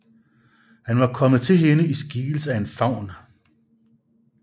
Han var kommet til hende i skikkelse af en faun